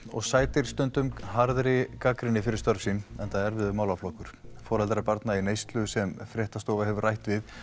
og sætir stundum harðri gagnrýni fyrir störf sín enda erfiður málaflokkur foreldrar barna í neyslu sem fréttastofa hefur rætt við